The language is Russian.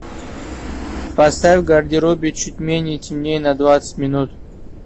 поставь в гардеробе чуть менее темнее на двадцать минут